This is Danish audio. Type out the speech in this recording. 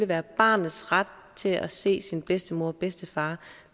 være barnets ret til at se sin bedstemor og bedstefar